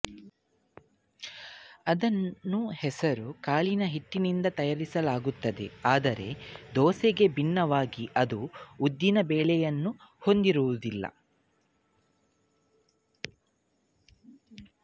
ಅದನ್ನು ಹೆಸರು ಕಾಳಿನ ಹಿಟ್ಟಿನಿಂದ ತಯಾರಿಸಲಾಗುತ್ತದೆ ಆದರೆ ದೋಸೆಗೆ ಭಿನ್ನವಾಗಿ ಅದು ಉದ್ದಿನ ಬೇಳೆಯನ್ನು ಹೊಂದಿರುವುದಿಲ್ಲ